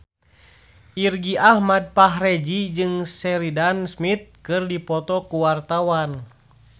Irgi Ahmad Fahrezi jeung Sheridan Smith keur dipoto ku wartawan